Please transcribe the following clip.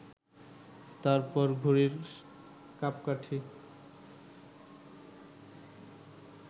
তার পর ঘুড়ির কাঁপকাঠি